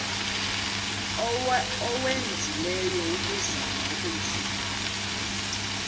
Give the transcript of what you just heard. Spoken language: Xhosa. owenzileyo ukuzama ukuyifumana